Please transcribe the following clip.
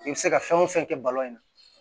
I bɛ se ka fɛn o fɛn kɛ in na